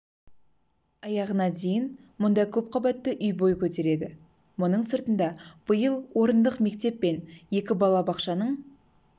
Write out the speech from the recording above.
аяғына дейін мұнда көпқабатты үй бой көтереді мұның сыртында биыл орындық мектеп пен екі балабақшаның